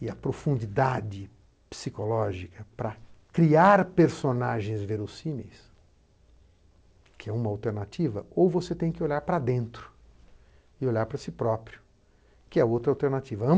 e a profundidade psicológica para criar personagens verossímeis, que é uma alternativa, ou você tem que olhar para dentro e olhar para si próprio, que é outra alternativa.